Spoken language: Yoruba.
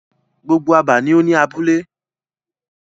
Gbogbo abà ni o ni abúlé.